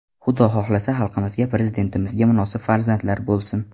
Xudo xohlasa, xalqimizga, Prezidentimizga munosib farzandlar bo‘lsin”.